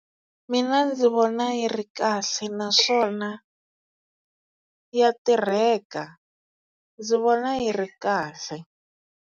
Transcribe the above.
Mina ndzi vona yi ri kahle naswona ya tirheka ndzi vona yi ri kahle.